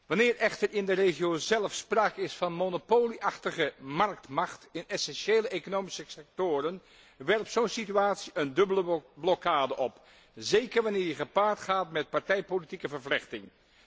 Wanneer echter in de regio zelf sprake is van een monopolieachtige marktmacht in essentiële economische sectoren werpt zo een situatie een dubbele blokkade op, zeker wanneer deze gepaard gaat met partijpolitieke vervlechting.